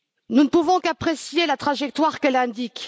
Nous ne pouvons qu'apprécier la trajectoire qu'elle indique.